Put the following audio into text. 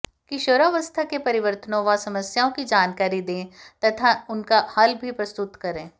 किशोरावस्था के परिवर्तनों व समस्याओं की जानकारी दें तथा उनका हल भी प्रस्तुत करें